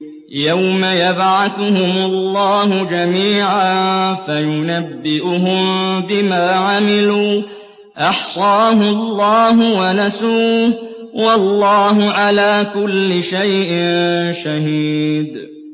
يَوْمَ يَبْعَثُهُمُ اللَّهُ جَمِيعًا فَيُنَبِّئُهُم بِمَا عَمِلُوا ۚ أَحْصَاهُ اللَّهُ وَنَسُوهُ ۚ وَاللَّهُ عَلَىٰ كُلِّ شَيْءٍ شَهِيدٌ